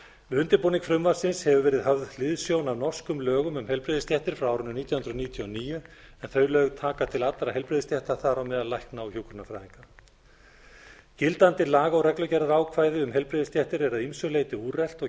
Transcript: undirbúning frumvarpsins hefur verið höfð hliðsjón af norskum lögum heilbrigðisstéttir frá árinu nítján hundruð níutíu og níu en þau lög taka til allra heilbrigðisstétta þar á meðal lækna og hjúkrunarfræðinga gildandi laga og reglugerðaákvæði um heilbrigðisstéttir eru að ýmsu leyti